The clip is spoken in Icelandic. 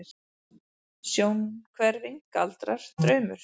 Sjónhverfing, galdrar, draumur?